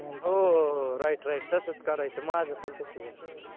हो हो हो right right तसंच करायच माझं पण तसं घाल